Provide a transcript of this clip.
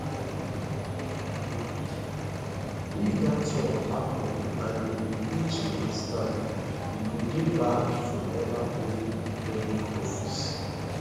if dat one happen and im impeachment stand e go dey banned from ever holding public office